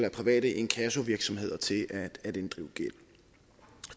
af private inkassovirksomheder til at inddrive gæld